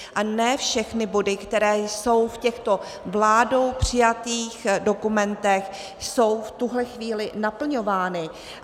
A ne všechny body, které jsou v těchto vládou přijatých dokumentech, jsou v tuhle chvíli naplňovány.